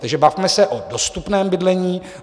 Takže bavme se o dostupném bydlení.